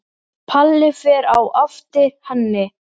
Palli fer á eftir henni.